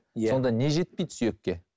иә сонда не жетпейді сүйекке